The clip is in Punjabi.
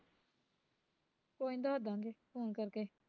ਕੋਈ ਨੀ ਦੱਸਦਾਂਗੇ phone ਕਰਕੇ